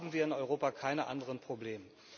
Haben wir in Europa keine anderen Probleme?